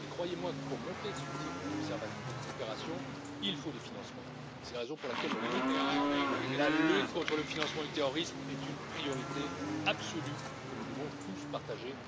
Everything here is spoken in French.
Croyez moi, pour monter ce type d'opération, il faut des financements et c'est la raison pour laquelle la lutte contre le financement du terrorisme est une priorité absolue que nous devons tous partager.